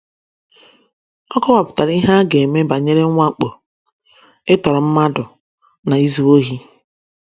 Ọ kọwapụtara ihe a ga - eme banyere mwakpo, ịtọrọ mmadụ, na izu ohi.